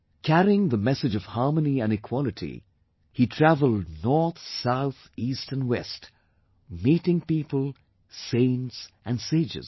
Carrying the message of harmony and equality, he travelled north, south, east and west, meeting people, saints and sages